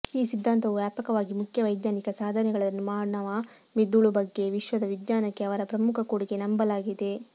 ಈ ಸಿದ್ಧಾಂತವು ವ್ಯಾಪಕವಾಗಿ ಮುಖ್ಯ ವೈಜ್ಞಾನಿಕ ಸಾಧನೆಗಳನ್ನು ಮಾನವ ಮಿದುಳು ಬಗ್ಗೆ ವಿಶ್ವದ ವಿಜ್ಞಾನಕ್ಕೆ ಅವರ ಪ್ರಮುಖ ಕೊಡುಗೆ ನಂಬಲಾಗಿದೆ